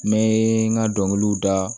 N bɛ n ka dɔnkiliw da